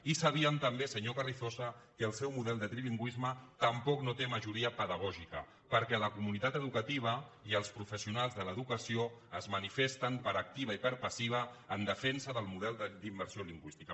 i sabíem també senyor carrizosa que el seu model de trilingüisme tampoc no té majoria pedagògica perquè la comunitat educativa i els professionals de l’educació es manifesten per activa i per passiva en defensa del model d’immersió lingüística